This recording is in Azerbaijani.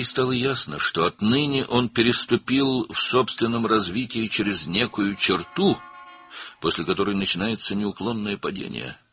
Ona aydın oldu ki, o, öz inkişafında bir sərhədi keçib, ondan sonra dayanmadan düşüş başlayır.